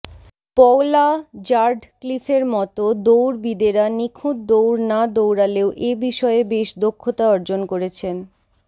Paula র্যাডক্লিফের মতো দৌড়বিদেরা নিখুঁত দৌড় না দৌড়ালেও এ বিষয়ে বেশ দক্ষতা অর্জন করেছেন